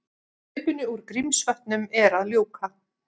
Hlaupinu úr Grímsvötnum er að ljúka